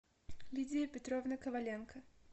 лидия петровна коваленко